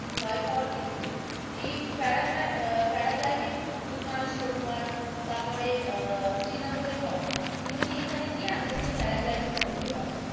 ভয়পায়ার কিছু নেয় এই পরাগ~ প্যারাগ্লাইডিং গুলমার্গ, সোনমার্গ, তারপরে শ্রীনগরে হয় তুমি আগে থেকে এখানে গিয়ে প্যারাগ্লাইডিং করতে পারো,